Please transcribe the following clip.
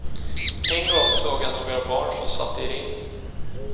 En gång såg jag några barn som satt i ring.